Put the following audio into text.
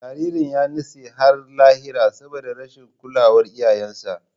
Jaririn ya nutse har lahira saboda rashin kulawar iyayensa.